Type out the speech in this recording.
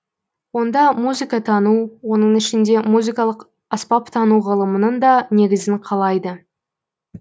онда музыкатану оның ішінде музыкалық аспаптану ғылымының да негізін қалайды